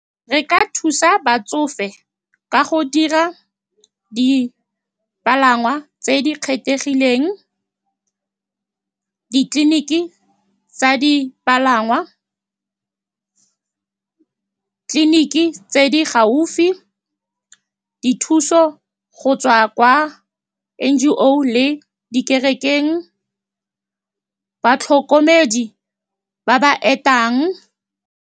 Re ka thusa batsofe ka go dira dipalangwa tse di kgethegileng, ditleliniki tsa dipalangwa, clinic tse di gaufi, dithuso go tswa kwa N_G_O le di kerekeng, batlhokomedi ba ba etang.